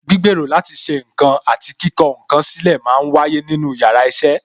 Gbígbèrò láti ṣe ǹkan àti kíkọ ǹ kan sílè máa ń wáyé nínú yàrá iṣẹ́